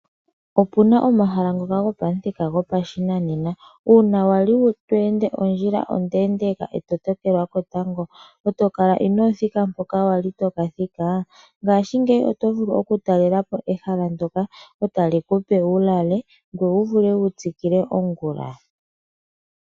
Opuna omahala ngoka gopamuthika gopashinanena. Uuna wali to ende ondjila onde ndeka e to tokelwa ketango e to kala ino thika mpoka wali to ka thika, ngashingeyi oto vulu okutalela po ehala ndoka , e tali kupe wu lale. Ngoye owu vule okutsikila ongula.